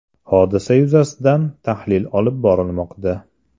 Hodisa yuzasidan tahlil olib borilmoqda.